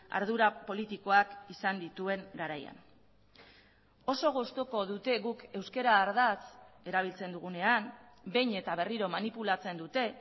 ardura politikoak izan dituen garaian oso gustuko dute guk euskara ardatz erabiltzen dugunean behin eta berriro manipulatzen dute